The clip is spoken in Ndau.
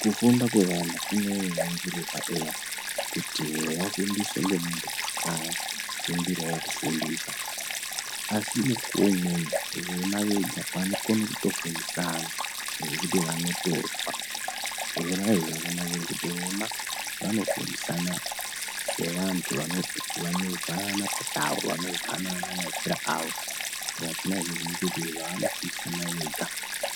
Kufunda kwevana kuno ningirirwa eya kuti vafundiswe ngemunhu wakafundirawo kufundisa asi mukuwo umweni vona venga vanokone kufundisana zvekuti vanotozwa zvona izvi vona vanofundisana sevantu vanozwanana pachawo vanozwanana maitire avo zvekuti zvavanofundisana vega